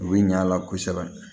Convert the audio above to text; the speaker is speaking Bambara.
U bɛ ɲ'a la kosɛbɛ